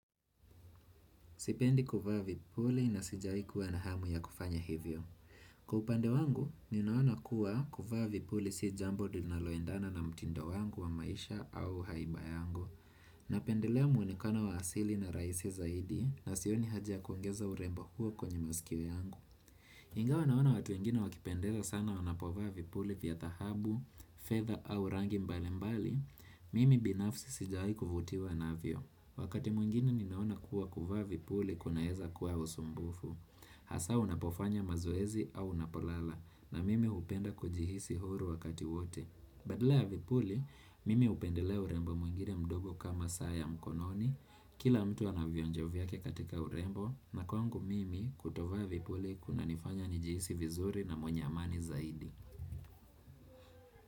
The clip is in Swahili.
Sipendi kuvaa vipuli na sijawahi kuwa na hamu ya kufanya hivyo. Kwa upande wangu, ninaona kuwa kuvaa vipuli si jambo linaloendana na mtindo wangu wa maisha au haiba yangu. Napendelea muonekano wa asili na rahisi zaidi na sioni haja kuongeza urembo huo kwenye masikio yangu. Ingawa naona watu wengine wakipendeza sana wanapovaa vipuli vya dhahabu, fedha au rangi mbali mbali, mimi binafsi sijawahai kuvutiwa navyo. Wakati mwingine ninaona kuwa kuvaa vipuli kunaweza kuwa usumbufu Hasa unapofanya mazoezi au unapolala na mimi hupenda kujihisi huru wakati wote Badala ya vipuli, mimi hupendelea urembo mwingine mdogo kama saa ya mkononi Kila mtu anavionjo vyake katika urembo na kwangu mimi kutovaa vipuli kunanifanya nijihisi vizuri na mwenye amani zaidi.